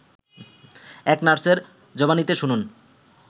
এক নার্সের জবানিতে শুনুন